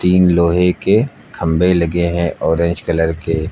तीन लोहे के खंभे लगे हैं ऑरेंज कलर के।